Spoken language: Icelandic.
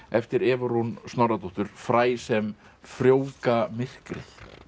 eftir Evu Rún Snorradóttur fræ sem frjóvga myrkrið